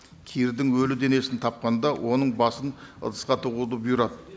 кирдің өлі денесін тапқанда оның басын ыдысқа тығуды бұйырады